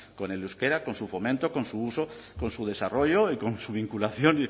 con el euskera con su fomento con su uso con su desarrollo y con su vinculación